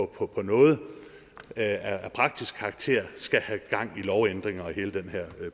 på på noget af praktisk karakter skal have gang i lovændringer og hele den her